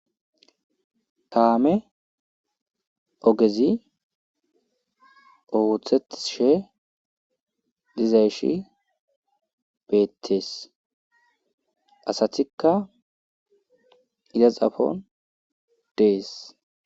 Taame ogezi ooththetishe diza shi beettees asatikka izaxafon dees.